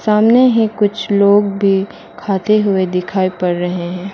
सामने ही कुछ लोग भी खाते हुए दिखाई पड़ रहे हैं।